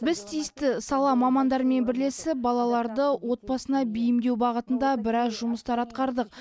біз тиісті сала мамандарымен бірлесіп балаларды отбасына бейімдеу бағытында біраз жұмыстар атқардық